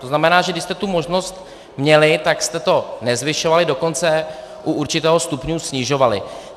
To znamená, že když jste tu možnost měli, tak jste to nezvyšovali, dokonce u určitého stupně snižovali.